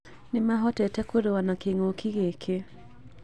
Nĩ mahotete kũrũa na kĩngũki gĩkĩ